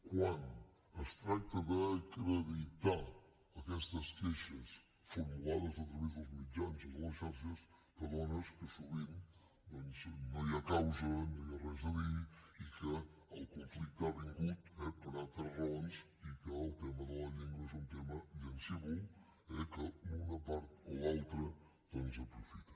quan es tracta d’acreditar aquestes queixes formulades a través dels mitjans o de les xarxes t’adones que sovint doncs no hi ha causa no hi ha res a dir i que el conflicte ha vingut eh per altres raons i que el tema de la llengua és un tema llancívol que l’una part o l’altra doncs aprofita